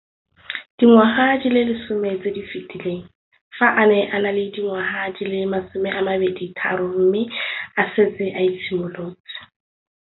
Dingwaga di le 10 tse di fetileng, fa a ne a le dingwaga di le 23 mme a setse a itshimoletse